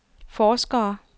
forskere